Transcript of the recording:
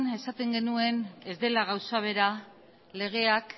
esaten genuen ez dela gauza bera legeak